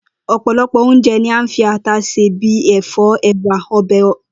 O̩̩pòlo̩pò̩ oúnje̩ ni à ń fi ata sè bí i è̩fó̩, è̩wà, omi o̩bè̩